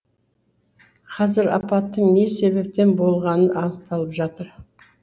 қазір апаттың не себептен болғаны анықталып жатыр